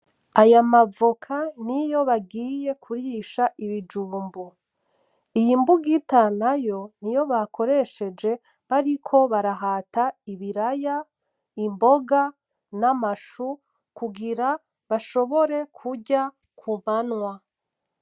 Aya mavoka niyo bagiye kurisha ibijumbu .Iyi bugita nayo niyo bakoreshenje bariko barahata ibiraya, ibonga, n’amashu kungira bashombore kurya kumanwa.